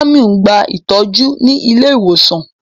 Jàmíù n gbà ìtọju ní ilẹ̀-ìwosan.